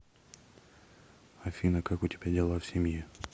афина как у тебя дела в семье